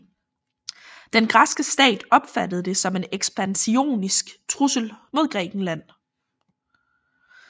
Den græske stat opfattede det som en ekspansionistisk trussel mod Grækenland